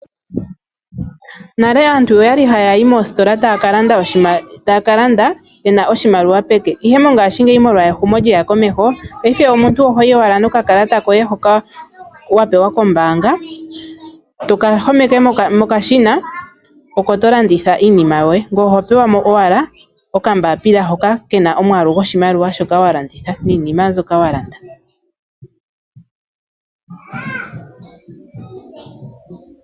Nale aantu okwali haya yi moositola taya kalanda yena oshimaliwa peke, ihe mongashingeyi molwa ehumo lyaya komeho paife omuntu ohoyi owala nokakalata koye hoka wapewa kombaanga, toka homeke mokashina oko tolanditha iinima yoye. Ngoye oho pewa mo owala okambaapila hoka kena omwaalu gwoshimaliwa shoka walanditha niinima mbyoka walanda.